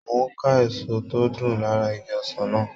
Mo n ká èso tó dùn lára igi ọsàn náà